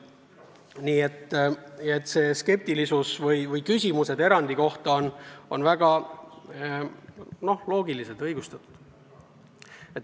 Nii et meie skeptilisus ja erandi kohta esitatud küsimused on väga loogilised, õigustatud.